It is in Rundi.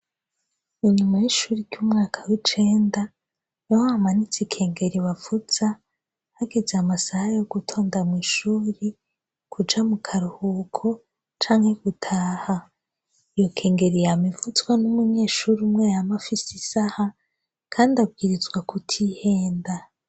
Inyuma y'ishuri ry'umwaka w'icenda bahamanitse ikengeri bavuza hageze amasaha yo gutonda mu ishuri, kuja mu karuhuko canke gutaha, iyo kengeri yama ivuzwa n'umunyeshuri umwe yama afise isaha kandi abwirizwa kutihenda.